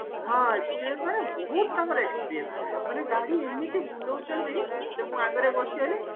ହଁ experience ମାନେ ବହୁତ ତାଙ୍କର experience ମାନେ ଗାଡି ଏମିତି ବୁଲଉଚନ୍ତି ସେ ମୁଁ ଆଗରେ ବସିଗଲି